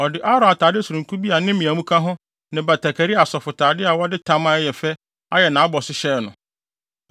Ɔde Aaron atade sononko bi a ne mmeamu ka ho ne batakari a asɔfotade a wɔde tam a ɛyɛ fɛ ayɛ nʼabɔso hyɛɛ no.